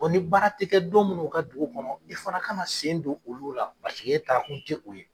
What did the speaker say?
ni baara tɛ kɛ don munnu o ka dugu kɔnɔ i fana ka sen don olu' la paseke e taa kun tɛ o ye.